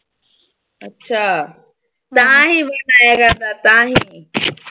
ਅੱਛਾ ਤਾਹੀਂ ਤਾਹੀਂ।